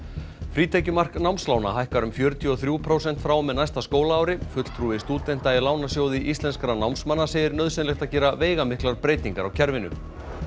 frítekjumark námslána hækkar um fjörutíu og þrjú prósent frá og með næsta skólaári fulltrúi stúdenta í Lánasjóði íslenskra námsmanna segir nauðsynlegt að gera veigamiklar breytingar á kerfinu